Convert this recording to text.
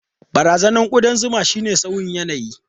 Barazanar kudan zuma shine sauyin yanayi.